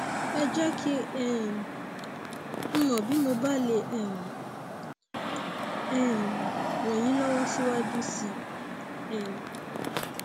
ẹ jẹ kí um n mọ bí mo bá lè um um ràn yín lọwọ síwájú sí i um